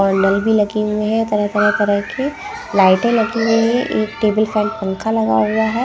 Bundle भी लगी हुए हैं तरह-तरह तरह की लाइटें लगी हुई हैं एक टेबल फैन पंखा लगा हुआ हैं ।